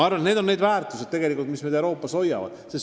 Aga just neid väärtusi Euroopa tegelikult hoiab.